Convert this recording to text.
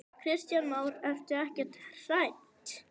Kristján Már: Ertu ekkert hrædd?